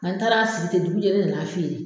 N'an taara sigi ten dugujɛ ne na na feere.